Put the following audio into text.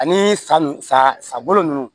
Ani sa n sago ninnu